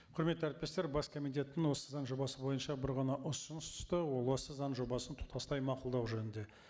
құрметті әріптестер бас комитеттен осы заң жобасы бойынша бір ғана ұсыныс түсті ол осы заң жобасын тұтастай мақұлдау жөнінде